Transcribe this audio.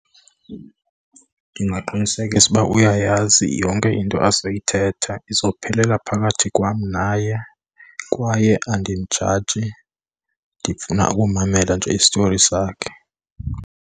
Ndingaqinisekisa ukuba uyayazi yonke into azoyithetha izophelela phakathi kwam naye, kwaye andimjaji ndifuna ukumamela nje istori sakhe.